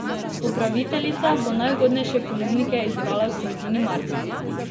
Upraviteljica bo najugodnejše ponudnike izbrala v sredini marca.